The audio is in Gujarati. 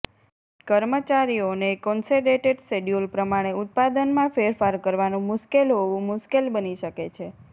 કર્મચારીઓને કોન્સેડેટેડ શેડ્યૂલ પ્રમાણે ઉત્પાદનમાં ફેરફાર કરવાનું મુશ્કેલ હોવું મુશ્કેલ બની શકે છે